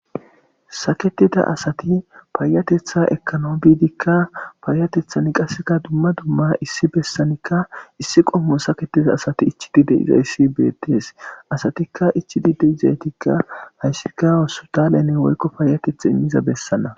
saketida asati paayatetha ekano gidika paayatethan qaseka dumma dumma issi bessanikka issi qomomo saketiza asati ichidid iza issi betees asatikka ichidi de izeetikka hayssikawassutalene woykko paayateth immiza bessana